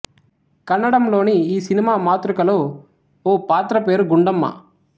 కన్నడంలోని ఈ సినిమా మాతృకలో ఓ పాత్ర పేరు గుండమ్మ